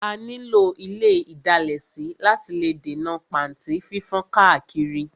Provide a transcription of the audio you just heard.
A ní lò ile ìdalẹ̀ sí láti lè dènà pàntí fífán káàkiri.